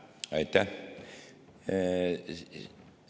Aitäh!